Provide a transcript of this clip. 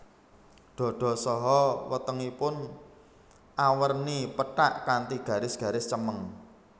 Dada saha wetengipun awerni pethak kanthi garis garis cemeng